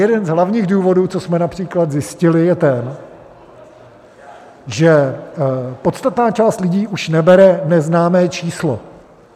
Jeden z hlavních důvodů, co jsme například zjistili, je ten, že podstatná část lidí už nebere neznámé číslo.